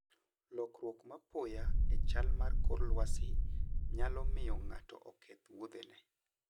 Lokruok mapoya e chal mar kor lwasi nyalo miyo ng'ato oketh wuodhene.